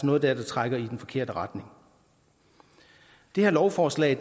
noget dér der trækker i den forkerte retning det her lovforslag